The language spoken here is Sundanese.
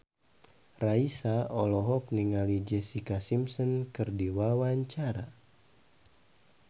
Raisa olohok ningali Jessica Simpson keur diwawancara